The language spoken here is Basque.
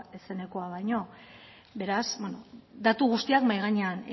zenekoa baino beraz beno datu guztiak mahai gainean